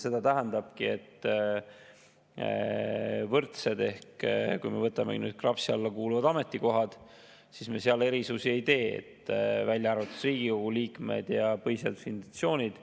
Seda tähendabki, et kui me võtame KRAPS-i alla kuuluvad ametikohad, siis me seal erisusi ei tee, välja arvatud Riigikogu liikmed ja põhiseaduslikud institutsioonid.